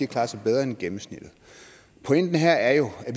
klaret sig bedre end gennemsnittet pointen her er jo at